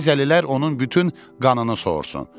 Qoy zəlilər onun bütün qanını sorsun.